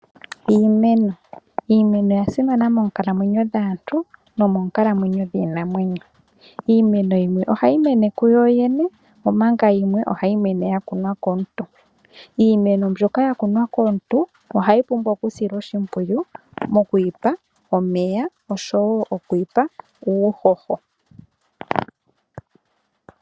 Iimeno, Iimeno oya simana monkalamwenyo dhaantu nomoonkalamwenyo dhiinamwenyo, iimeno yimwe ohayi mene ku yo yene omanga yimwe hayi mene ya kunwa komuntu. Iimeno mbyoka ya kunwa komuntu ohayi pumbwa okusilwa oshipwiyu mokuyi pa omeya osho wo mokuyi pa uuhoho.